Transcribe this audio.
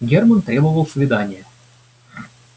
германн требовал свидания